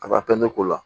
Ka taa pɛntiri k'o la